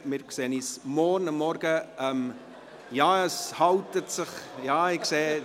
Wir sehen uns morgen Vormittag wieder.